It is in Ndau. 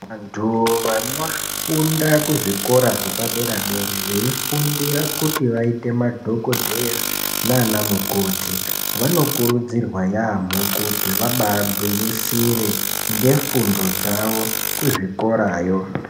Vantu vanofunda kuzvikora zvepadera-dera veifundire kuti vaite madhokodheya naana mukoti, vanokurudzirwa yaamho kuti vabaagwinyisire ngefundo dzavo kuzvikorayo.